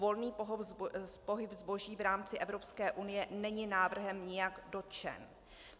Volný pohyb zboží v rámci Evropské unie není návrhem nijak dotčen.